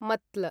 मत्ल